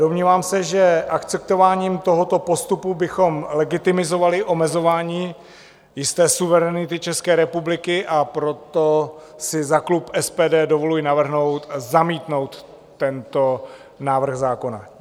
Domnívám se, že akceptováním tohoto postupu bychom legitimizovali omezování jisté suverenity České republiky, a proto si za klub SPD dovoluji navrhnout zamítnout tento návrh zákona.